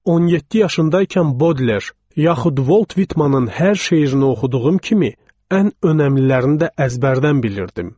17 yaşındaykən Bodler yaxud Volt Vitmanın hər şeirini oxuduğum kimi ən əhəmiyyətlərini də əzbərdən bilirdim.